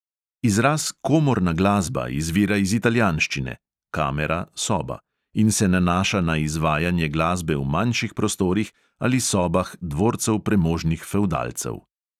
Izraz komorna glasba izvira iz italijanščine (kamera – soba) in se nanaša na izvajanje glasbe v manjših prostorih ali sobah dvorcev premožnih fevdalcev.